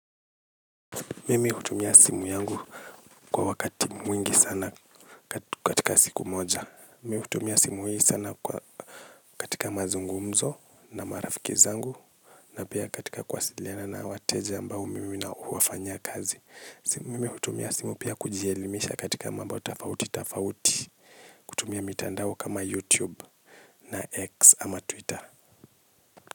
Mimi hutumia simu yangu kwa wakati mwingi sana katika siku moja. Mimi hutumia simu hii sana katika mazungumzo na marafiki zangu. Na pia katika kuwasiliana na wateja ambao mimi na huwafanya kazi. Mimi hutumia simu pia kujielimisha katika mambo tafauti tafauti. Kutumia mitandao kama youtube na x ama twitter.